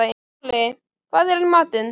Moli, hvað er í matinn?